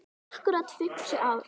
Akkúrat fimmtíu ár.